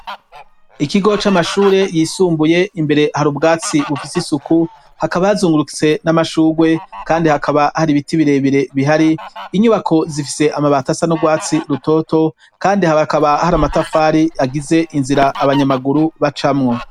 Ikigo c'amashure yisumbuye ,imbere hari ubwatsi bufise isuku hakaba hazungurutse n'amashugwe kandi hakaba hari ibiti birebire bihari inyubako zifise amabati assa n'urwatsi rutoto kandi habe hakaba hari amatafari agize inzira abanyamaguru bacamwo.